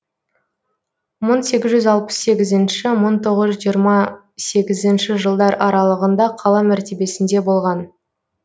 мың сегіз жүз алпыс сегізінші мың тоғыз жүз жиырма сегізінші жылдар аралығында қала мәртебесінде болған